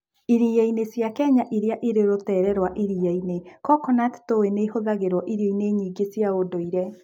Iria-inĩ cia Kenya iria irĩ rũteere rwa iria-inĩ, coconut tui nĩ ĩhũthagĩrũo irio-inĩ nyingĩ cia ũndũire.